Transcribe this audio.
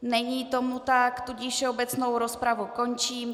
Není tomu tak, tudíž všeobecnou rozpravu končím.